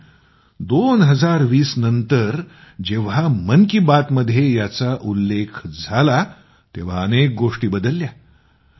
पण 2020 नंतर जेव्हा मन की बात मध्ये याचा उल्लेख झाला तेव्हा अनेक गोष्टी बदलल्या